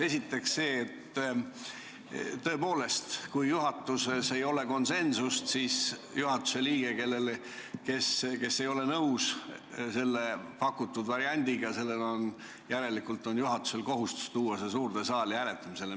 Esiteks, tõepoolest, kui juhatuses ei ole konsensust, kui üks juhatuse liige ei ole nõus pakutud variandiga, siis on juhatusel kohustus tuua küsimus suurde saali hääletamisele.